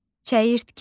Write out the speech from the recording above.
Çəyirtkə.